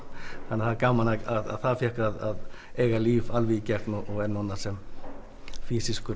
það er gaman að það fékk að eiga líf alveg í gegn og er núna sem